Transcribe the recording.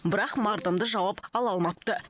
бірақ мардымды жауап ала алмапты